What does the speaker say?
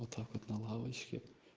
вот так вот на лавочке